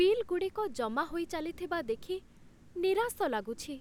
Bill ଗୁଡ଼ିକ ଜମା ହୋଇ ଚାଲିଥିବା ଦେଖି ନିରାଶ ଲାଗୁଛି।